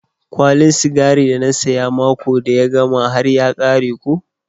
Kwalin sigari da na siya mako da ya gama har ya kare ko.